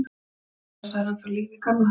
Hann er að hrósa þér, það er ennþá líf í gamla.